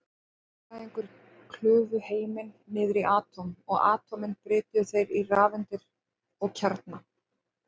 Eðlisfræðingar klufu heiminn niður í atóm, og atómin brytjuðu þeir í rafeindir og kjarna.